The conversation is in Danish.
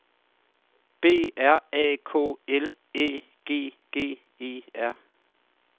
B R A K L Æ G G E R